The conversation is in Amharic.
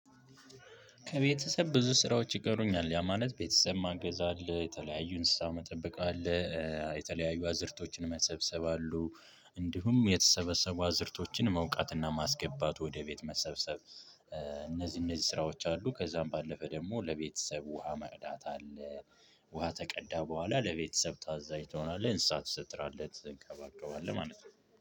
ከቤተሰብ ብዙ ስራዎች ይቀሩኛል። ያ ማለት ቤተሰብ ማገዝ አለ የተለያዩ እንስሳ መጠበቅ አለ የተለያዩ አዝርቶችን መሰብሰብ አሉ እንዲሁም የተሰበሰቡ አዝርቶችን መውቃትና ማስገባት ወደ ቤት መሰብሰብ እነዚህ እነዚህ ስራዎች አሉ ከዛም ባለፈ ደግሞ ለቤተሰብ ውሃ ማቅዳት አለ ውሃ ከቀዳህ በኋላ ለቤተሰብ ታዛዥ ትሆናለህ፣ እንስሳ ትሰጥራለት ትንከባከባለህ ማለት ነው።